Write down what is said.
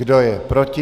Kdo je proti?